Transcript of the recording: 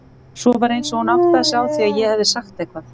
Svo var eins og hún áttaði sig á því að ég hefði sagt eitthvað.